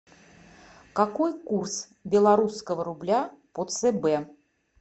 какой курс белорусского рубля по цб